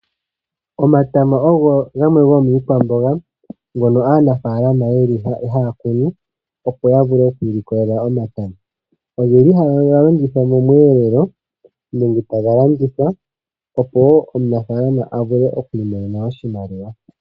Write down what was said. Omatama ogo gamwe gomiikwamboga ngono aanafaalama yeli haya kunu opo yavule okwiilikolela omatama. Ohaga longithwa momweelelo nenge taga landitgwa opo omunafaalama avule okwiimonena oshimaliwa.